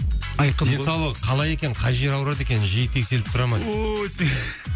айқын денсаулығы қалай екен қай жері ауырады екен жиі тексеріліп тұра ма